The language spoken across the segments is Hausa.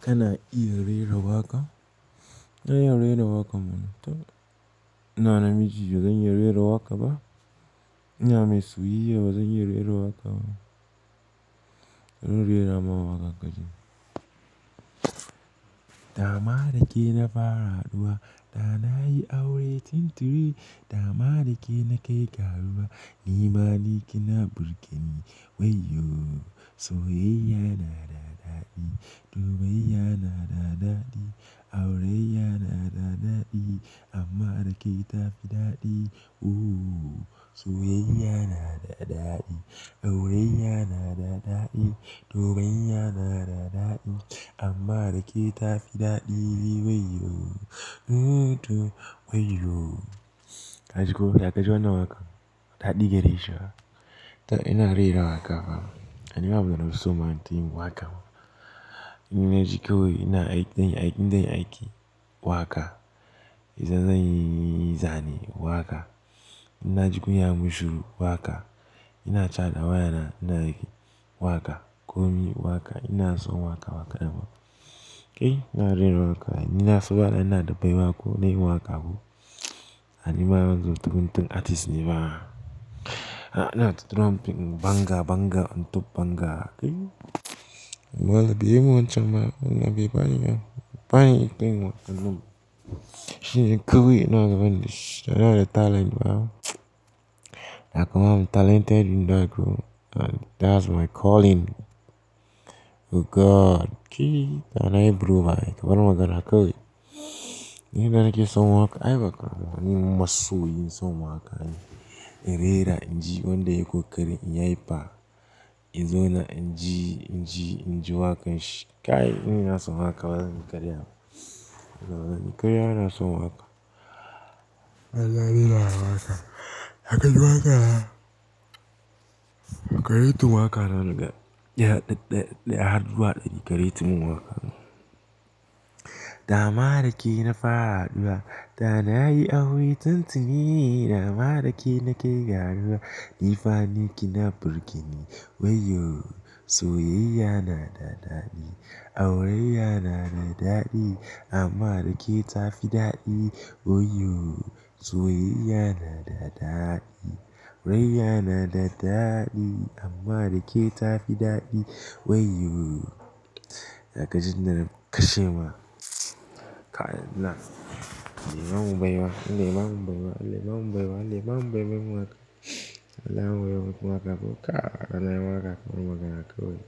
Kana iya rera waƙa? Na iya rera waƙa mana. iNa na miji bazan iya rera waƙa ba. iNa mai soyayya bazan iya rera waƙa ba. Bari in rera ma waƙa ka ji. Da ma da ke na fara haɗuwa, da na yi aure tun tuni. Da ma da ke na kai ga ruwa, ni ma ni ke na burge ni. Wayyo. Soyayya na da daɗi, lubayya na da daɗi, aure yana da daɗi amma da ke ta fi daɗi. Oh. Soyayya na da daɗi, aure yana da daɗi, dogayayya na da daɗi amma da ke ta fi daɗi. Waiyo. Oh, oh. Wayyo. Ka ji ko? Ya ka ji wannan waƙan? Daɗi gari shi. To ina rera waƙa fa. To ni ma mana musu ma tin waƙa. Inna ji kawai ina aiki, zan yi aiki, zan yi aiki waƙa. Idan zanyi zane waƙa. Inna jikin ya mun shuru waƙa. Ina chat da wayana ina yi waƙa. Komi waƙa. Ina son waƙa waƙa da ma. Eh ina rera waƙa. Inna so bana ina daɓai wa waƙa ko ina yi waƙa ko. An yi ma mana guntugun tun artist ne ba. Ana turawa pim Banga, Banga on top Banga. Kai. Malan biyu mu wancan ma ina biya ne. Bayi kai ma. Shine kuwai inaga ban dashi. Da na da talent ba. Da kuma talented in da ko that's my calling. Oh God. Kai. Da na yi broba. Ka bar magana ka wai nida nake son waƙa. Ai bakar ma. Ni masoyi son waƙane. In rera inji wanda ya ko ƙarin in yi ya ba. In zo na inji, inji, inji waƙan shi. Kai ina son waƙa bazan yi karya ba. Bazan yi karya ba ina son waƙa. Allah ni na ma waƙa. Da ka ji waƙa na? Kai rating tun waƙa na naga ɗaya har zuwa ɗari ka yi tun waƙa na. Da ma da ke na fara haɗuwa, da na yi aure tun tuni. Da ma da ke na kai ga ruwa, ni fa ni ke na burge ni. Waiyo. Soyayya na da daɗi, aure yana da daɗi amma da ke ta fi daɗi. Waiyo. Soyayya na da daɗi, aure yana da daɗi amma da ke ta fi daɗi. Waiyo. Da ka ji na kashe ma. Kai na. Allah ya bamu baiwa, Allah ya bamu baiwa, Allah ya bamu baiwa, Allah ya bamu baiwa mun waƙa. Allah ya wuri waƙa ko ka. Allah ya yi waƙa. Ka bar magans ka wai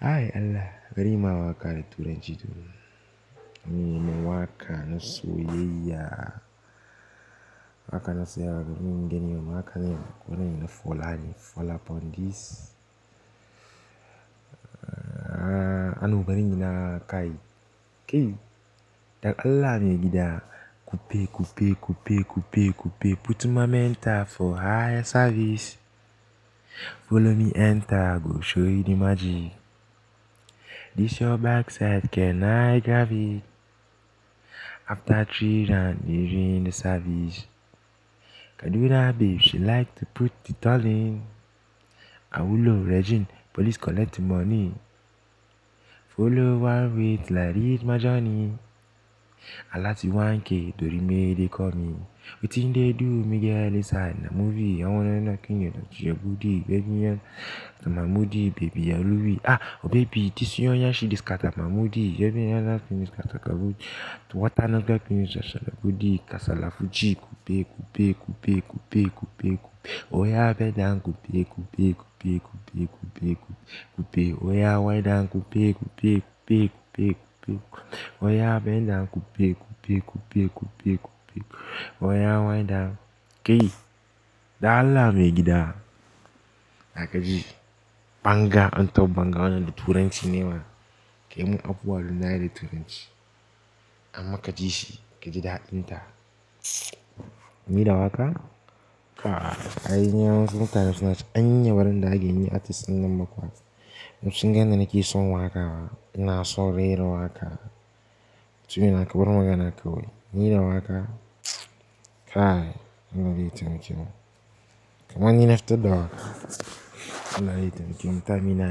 Ai Allah. Bari yi ma waƙa na turanci tun. Ni mai waƙa na soyayya. Waƙa na soyayya. Bari mun gani yau. Waƙa na yini Fulani. Follow up on this. Aa no bari inyi na kai. Kai. Da Allah me gida. Kope, kope, kope, kope, kope. Put my mentor for higher service. Follow me enter go show you the magic. This your backside can I grab it? After three rounds you ruined the service. Kaduna babe she like to put it all in. Awulo raging police collect money. Follow one with like rich my journey Alati 1K dorime they call me. Wetin dey do me girl inside na movie. Awolo no kinye na tijegbodi. Baby yan na My moody baby yan Luwi. Ah obebi this your yansh she dey scatter My Moody Jebiyan na finish scatter kabuji. To water no gya finish ashalabudi. Kasala fuji. Kope, kope, kope, kope, kope. Oya bendown kope, kope, kope, kope, kope, kope. Oya wide am kope, kope, kope, kope, kope. Oya benda kope, kope, kope, kope, kope. Oya waida. Kai. Da Allah me gida. Da ka ji. Banga on top Banga wannan turanci ne ma. Kai mun afuwa dan na yi da turanci. Amma ka ji shi ka ji daɗin ta. Ni da waƙa? Ah. Ai ni wasu mutane sunace anya bazandage inyi artist innan ba kuwa dan sunga yanda nake son waƙa. Ba ina son rera waƙa. Mutumina na ka bar magana kawai. Ni da waƙa? Kai. Allah ya taimake mu. Kaman ni na fitar da waƙa. Allah ya taimake mu. Ta mina.